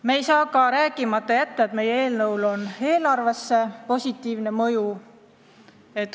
Tuleb ka märkida, et meie eelnõul on eelarvele positiivne mõju.